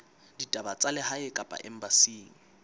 ditaba tsa lehae kapa embasing